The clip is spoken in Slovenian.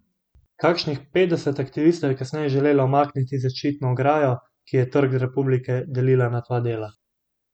Kakšnih petdeset aktivistov je kasneje želelo umakniti zaščitno ograjo, ki je Trg republike delila na dva dela.